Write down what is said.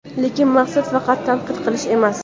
Lekin maqsad – faqat tanqid qilish emas.